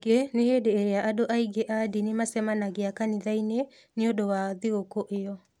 Ningĩ nĩ hĩndĩ ĩrĩa andũ aingĩ a ndini macemanagia kanitha-inĩ nĩ ũndũ wa thigũkũ ĩyo.